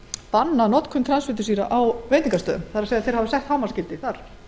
bannað notkun transfitusýra á veitingastöðum þau hafa sett hámarksgildi um magnið þar